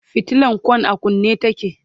fitilan Kwan a kunne take